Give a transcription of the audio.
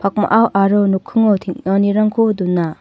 pakmao aro nokkingo teng·anirangko dona.